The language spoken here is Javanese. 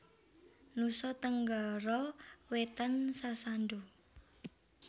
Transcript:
Nusa Tenggara Wétan Sasando